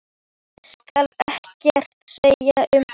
Ég skal ekkert segja um það.